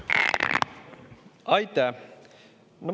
Aitäh!